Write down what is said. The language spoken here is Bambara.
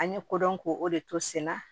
An ye ko dɔn ko o de to senna